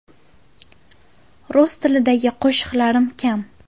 Rus tilidagi qo‘shiqlarim kam.